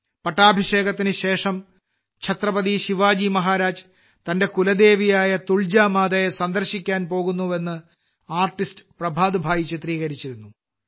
പട്ടാഭിഷേകത്തിനുശേഷം ഛത്രപതി ശിവജി മഹാരാജ് തന്റെ കുലദേവിയായ തുൾജാ മാതയെ സന്ദർശിക്കാൻ പോകുന്നുവെന്ന് ആർട്ടിസ്റ്റ് പ്രഭാത് ഭായ് ചിത്രീകരിച്ചിരുന്നു